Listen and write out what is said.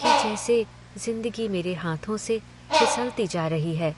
कि जैसे ज़िंदगी मेरे हाथों से फिसलती जा रही है।